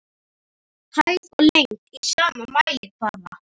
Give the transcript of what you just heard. Hæð og lengd í sama mælikvarða.